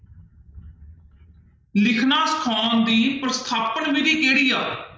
ਲਿਖਣਾ ਸਿਖਾਉਣ ਦੀ ਪ੍ਰਸਥਾਪਨ ਵਿੱਧੀ ਕਿਹੜੀ ਆ।